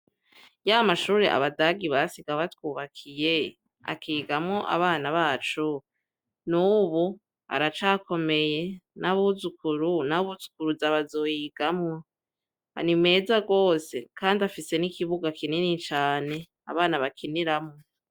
Ya mashure abadagi basiga batwubakiye akigamwo abana bacu n'ubu aracakomeye n'abuzukuru n'abuzukuruza bazoyigamwo ni meza gose kandi afise n'ikibuga kinini cane abana bakiniramwo.